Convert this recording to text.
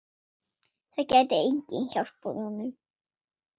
Það gæti enginn hjálpað honum.